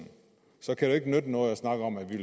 så kan det ikke nytte noget at snakke om at man